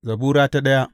Zabura Sura daya